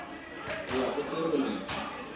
ho ya ho tse robedi